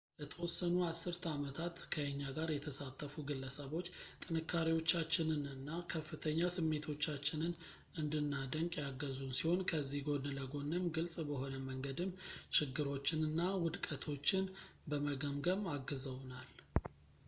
ለተወሰኑ አስርተ አመታት ከእኛ ጋር የተሳተፉ ግለሰቦች ጥንካሬዎቻችንንና ከፍተኛ ስሜቶቻችንን እንድናደንቅ ያገዙን ሲሆን ከዚህ ጎን ለጎንም ግልፅ በሆነ መንገድም ችግሮችንና ውድቀቶችን በመገምገምም አግዘውናል